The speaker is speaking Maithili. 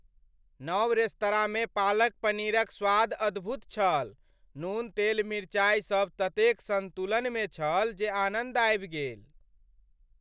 नव रेस्तराँमे पालक पनीरक स्वाद अद्भुत छल, नून तेल मिरचाइ सब ततेक सन्तुलनमे छल जे आनन्द आबि गेल।